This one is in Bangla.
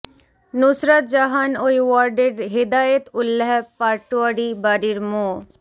নুসরাত জাহান ওই ওয়ার্ডের হেদায়েত উল্যাহ পাটোয়ারী বাড়ির মো